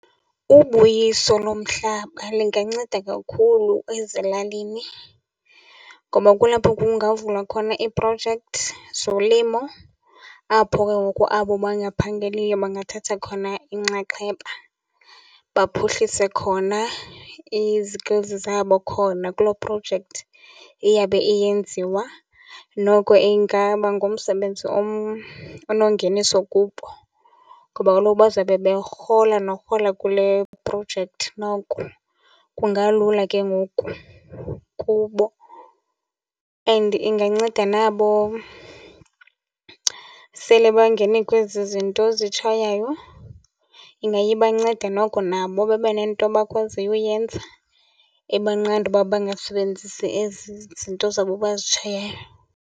Ubuyiso lomhlaba linganceda kakhulu ezilalini ngoba kulapho kungavula khona iiprojekthi zolimo, apho ke ngoku abo bangaphangeliyo bangathatha khona inxaxheba baphuhlise khona i-skills zabo khona kuloo projekthi iyabe iyenziwa. Noko ingaba ngumsebenzi onongeniso kubo ngoba kaloku bazabe berhola norhola kule projekthi noko. Kungalula ke ngoku kubo and inganceda nabo sele bangene kwezi zinto zitshaywayo, ingaye ibanceda noko nabo babe nento bakwaziyo uyenza ebanqanda uba bangasebenzisi ezi zinto zabo bazitshayayo.